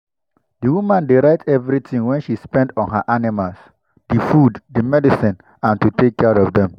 the woman dey write everything wey she spend on her animals - the food the medicine and to take care of them.